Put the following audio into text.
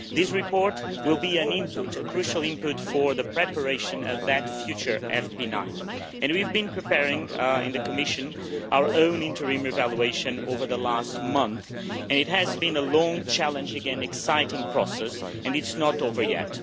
This report will be a crucial input for the preparation of that future FP9, and we have been preparing in the Commission our own interim evaluation over the last month, and it has been a long, challenging and exciting process and it is not over yet.